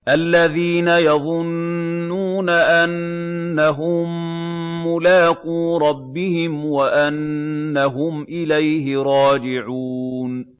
الَّذِينَ يَظُنُّونَ أَنَّهُم مُّلَاقُو رَبِّهِمْ وَأَنَّهُمْ إِلَيْهِ رَاجِعُونَ